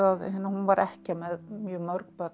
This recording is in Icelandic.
hún var ekkja með mjög mörg börn